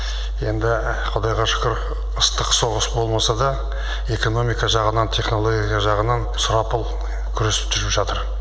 енді құдайға шүкір ыстық соғыс болмаса да экономика жағынан технология жағынан сұрапыл күрес жүріп жатыр